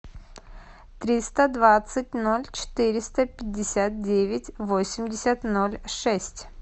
триста двадцать ноль четыреста пятьдесят девять восемьдесят ноль шесть